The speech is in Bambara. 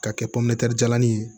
K'a kɛ pometa nin ye